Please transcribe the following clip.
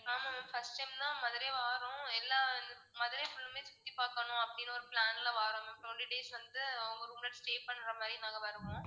ஆமா ma'am first time தான் மதுரை வர்றோம். எல்லாம் மதுரை full மே சுத்தி பாக்கணும் அப்படின்னு ஒரு plan ல வர்றோம் twenty days வந்து உங்க room ல stay பண்ற மாதிரி நாங்க வருவோம்.